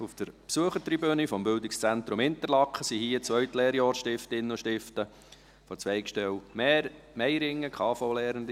Auf der Besuchertribüne sind vom Bildungszentrum Interlaken die 2. Lehrjahr-«Stiftinnen» und -«Stiften» der Zweigstelle Meiringen, KV-Lernende hier.